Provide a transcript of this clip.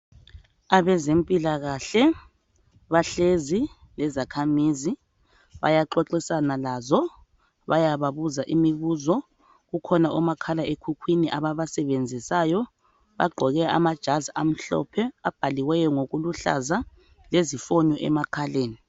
Abezempilakahle bahlezi lezakhamizi bayaxoxisana lazo bayababuza imibuzo, kukhona omakhala ekhukhwini ababasebenzisayo, bagqoke amajazi amhlophe abhaliweyo ngokuluhlaza lezifonyo emakhaleni.